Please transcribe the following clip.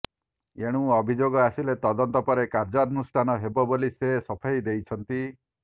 ଏଣୁ ଅଭିଯୋଗ ଆସିଲେ ତଦନ୍ତ ପରେ କାର୍ଯ୍ୟନୁଷ୍ଠାନ ହେବ ବୋଲି ସେ ସଫେଇ ଦେଇଛନ୍ତି